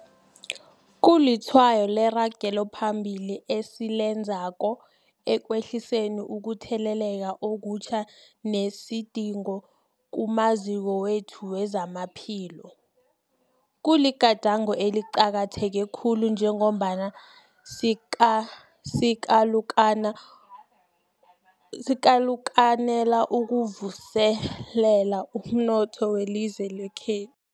Kulitshwayo leragelo phambili esilenzako ekwehliseni ukutheleleka okutjha nesidingo kumaziko wethu wezamaphilo. Kuligadango eliqakatheke khulu njengombana sikalukanela ukuvuselela umnotho welizwe lekhe